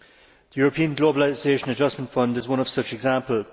The European Globalisation Adjustment Fund is one such example.